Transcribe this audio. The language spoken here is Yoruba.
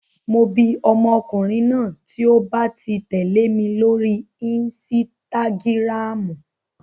Mo bi ọmọkùnrin náà tí ó ba ti tẹ̀lé mi lórí insitagiramu.